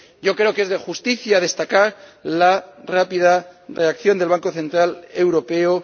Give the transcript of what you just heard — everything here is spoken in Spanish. Creo que es de justicia destacar la rápida reacción del Banco Central Europeo.